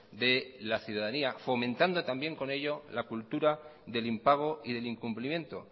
de la ciudadanía fomentando también con ello la cultura del impago y del incumplimiento